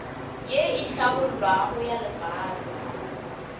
ye e hlabollwago ya lefase